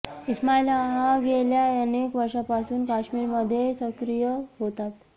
इस्माईल हा गेल्या अनेक वर्षांपासून काश्मीरमध्ये सक्रीय होता